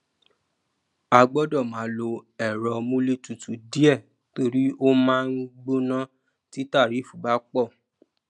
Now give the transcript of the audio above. a gbọdọ máa lo èrọ múlé tutù díẹ torí o máa n gbóná tí tarifu bá pọ